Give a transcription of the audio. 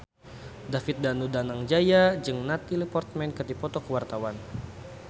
David Danu Danangjaya jeung Natalie Portman keur dipoto ku wartawan